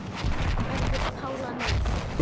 Verður Pála með?